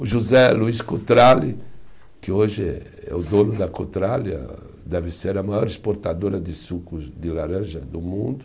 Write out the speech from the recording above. O José Luiz Cotrali, que hoje é o dono da Cotralia, deve ser a maior exportadora de sucos de laranja do mundo.